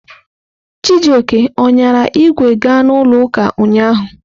Chijioke ọ ṅyara ìgwè ga n'ụlọ ụka ụnyahụ?